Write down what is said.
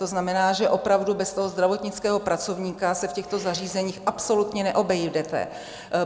To znamená, že opravdu bez toho zdravotnického pracovníka se v těchto zařízeních absolutně neobejdete.